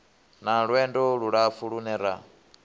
na lwendo lulapfu lune ra